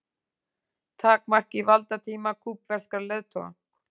Takmarki valdatíma kúbverskra leiðtoga